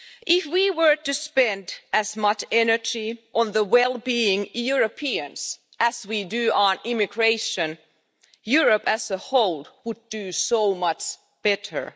If we were to spend as much energy on the well being of Europeans as we do on immigration, Europe as a whole would do so much better.